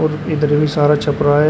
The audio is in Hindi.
और इधर भी सारा छपरा है।